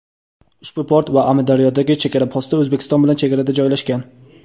Ushbu port va Amudaryodagi chegara posti O‘zbekiston bilan chegarada joylashgan.